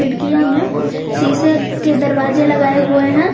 खिड़कियां में शीशे के दरवाजे लगाए हुए हैं।